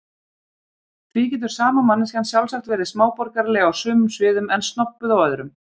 Því getur sama manneskjan sjálfsagt verið smáborgaraleg á sumum sviðum en snobbuð á öðrum.